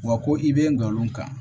Wa ko i bɛ ngalon kan